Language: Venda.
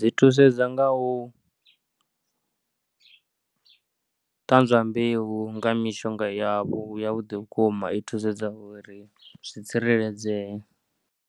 Zwi thusedza nga u ṱanzwa mbeu nga mishonga yavho ya vhuḓi vhukuma, i thusedza uri zwi tsireledzee.